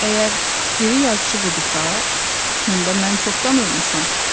Əgər diri yazıçı budursa, onda mən çoxdan ölmüşəm.